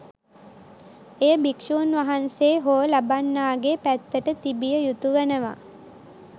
එය භික්‍ෂූන් වහන්සේ හෝ ලබන්නාගේ පැත්තට තිබිය යුතු වනවා.